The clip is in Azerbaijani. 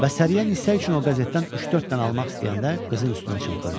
Və Səriyə Nisə üçün o qəzetdən üç-dörd dənə almaq istəyəndə qızın üstünə çımxırdı.